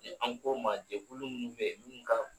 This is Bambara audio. an k'o maa jɛkulu minnu bɛ yen minnu ka